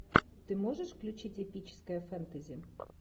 ты можешь включить эпическое фэнтези